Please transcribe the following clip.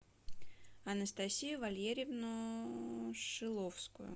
анастасию валерьевну шиловскую